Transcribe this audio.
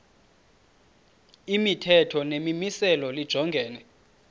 imithetho nemimiselo lijongene